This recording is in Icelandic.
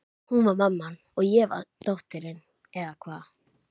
Hún var mamman og ég dóttirin, eða hvað?